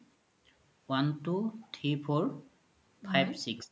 one two three four five six